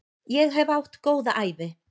Ég hef átt góða ævi.